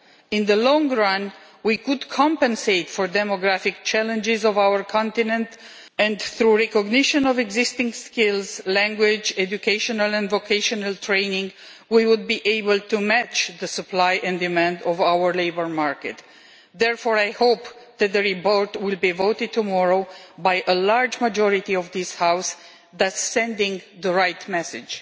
In the long run, we could compensate demographic the challenges facing our continent, and through recognition of existing skills, language, educational and vocational training, we would be able to match supply and demand on our labour market. Therefore, I hope that the report will be voted tomorrow by a large majority of this House, thus sending the right message.